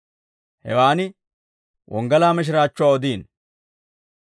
hewaan wonggalaa mishiraachchuwaa odiino.